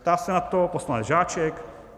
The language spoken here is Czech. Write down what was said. Ptá se na to poslanec Žáček.